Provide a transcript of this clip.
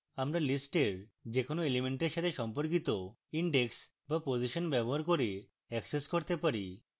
আমরা list we কোনো element সাথে সম্পর্কিত index বা position ব্যবহার করে অ্যাক্সেস করতে পারি